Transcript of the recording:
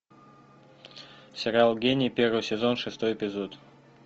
сериал гений первый сезон шестой эпизод